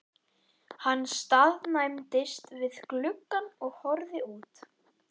Hann staðnæmdist við gluggann og horfði út.